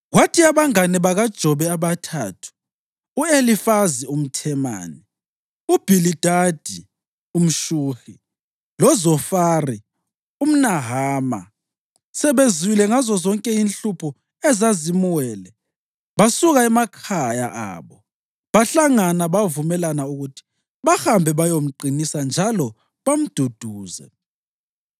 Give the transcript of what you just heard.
Kwathi abangane bakaJobe abathathu, u-Elifazi umThemani, uBhilidadi umShuhi loZofari umNahama sebezwile ngazozonke inhlupho ezazimwele, basuka emakhaya abo bahlangana bavumelana ukuthi bahambe bayomqinisa njalo bamduduze.